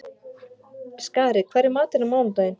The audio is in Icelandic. Skari, hvað er í matinn á mánudaginn?